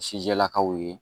Sijɛlakaw ye